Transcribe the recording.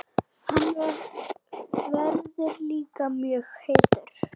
Hann verður líka mjög heitur.